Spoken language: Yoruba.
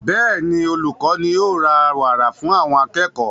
Bẹ́ẹ̀ni, olùkọ ní o ra wàrà fún àwọn akẹ́kọ̀ọ́